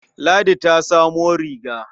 Ladi ta samo riga.